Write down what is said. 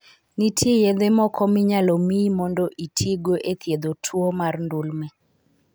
Nitie yedhe moko minyalo miyi mondo itigo e thiedho tuwo mar ndulme.